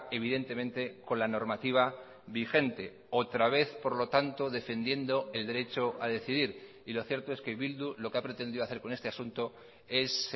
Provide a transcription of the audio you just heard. evidentemente con la normativa vigente otra vez por lo tanto defendiendo el derecho a decidir y lo cierto es que bildu lo que ha pretendido hacer con este asunto es